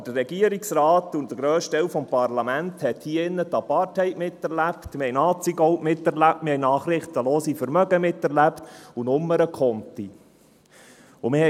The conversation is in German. Aber der Regierungsrat und der grösste Teil des Parlaments hat die Apartheid «miterlebt», wir haben Nazigold «miterlebt», wir haben nachrichtenlose Vermögen und Nummernkonti «miterlebt».